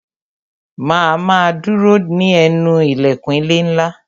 Ma a ma dúró ní ẹnu ilẹ̀kùn ilé ńlá